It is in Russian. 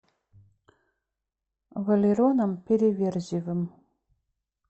валероном переверзевым